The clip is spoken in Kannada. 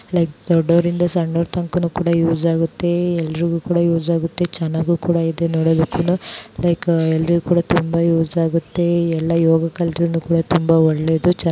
ಲೈಕ್ ದೊಡ್ಡೋರ್ಗಿಂತ ಸಣ್ಣವರಿಗೆ ಎಲ್ಲರಿಗೂ ಯೂಸ್ ಆಗುತ್ತೆ ಚೆನ್ನಾಗ್ ಕೂಡ ಇದೇ ನೋಡಕ್ಕೆನು ಲೈಕ್ ಎಲ್ರಿಗೂ ಕೂಡ ತುಂಬಾ ಯೂಸ್ ಆಗುತ್ತೆ ಎಲ್ಲಾ ಯೋಗ ಕಲಿತರು ತುಂಬಾ ಒಳ್ಳೆಯದು.